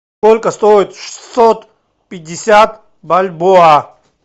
сколько стоит шестьсот пятьдесят бальбоа